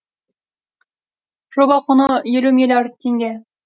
жоба құны елу миллиард теңге